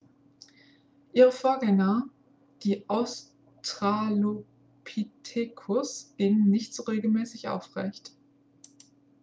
ihre vorgänger die australopithecus gingen nicht so regelmäßig aufrecht